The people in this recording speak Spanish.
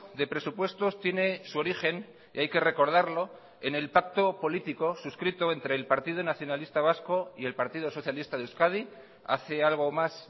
de presupuestos tiene su origen y hay que recordarlo en el pacto político suscrito entre el partido nacionalista vasco y el partido socialista de euskadi hace algo más